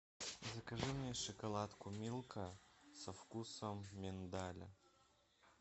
закажи мне шоколадку милка со вкусом миндаля